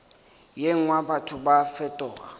ye nngwe batho ba fetoga